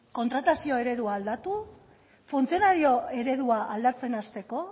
kontratazioa eredua aldatu funtzionario eredua aldatzen hasteko